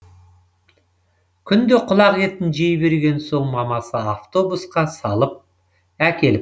күнде құлақ етін жей берген соң мамасы автобусқа салып әкеліп